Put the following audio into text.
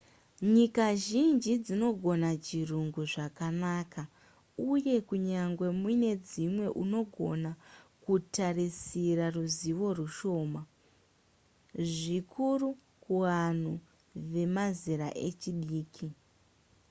nyika zhinji dzinogona chirungu zvakanaka uye kunyangwe mune dzimwe unogona kutarisira ruzivo rushoma zvikuru kuanhu vemazera echidiki